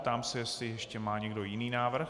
Ptám se, jestli ještě má někdo jiný návrh.